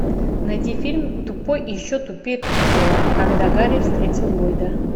найди фильм тупой и еще тупее тупого когда гарри встретил ллойда